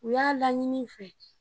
U y'a laɲini n fɛ